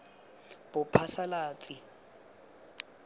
bophasalatsi